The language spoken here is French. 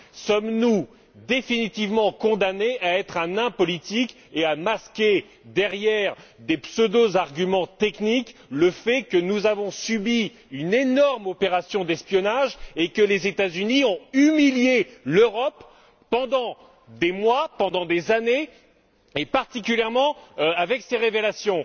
Sommes nous définitivement condamnés à être un nain politique et à masquer derrière des pseudo arguments techniques le fait que nous avons subi une énorme opération d'espionnage et que les États Unis ont humilié l'Europe pendant des mois, pendant des années, et particulièrement avec ces révélations?